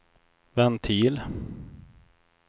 ventil